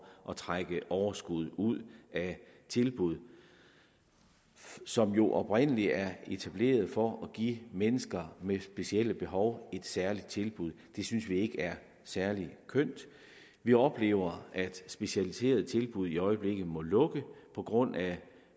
at trække overskuddet ud af tilbud som jo oprindelig er etableret for at give mennesker med specielle behov et særligt tilbud det synes vi ikke er særlig kønt vi oplever at specialiserede tilbud i øjeblikket må lukke på grund af